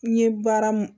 N ye baara mun